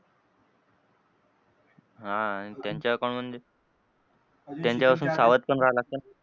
हां आणि त्यांच्या account मधे त्यांच्यापासून सावध पण राहायला लागतं ना.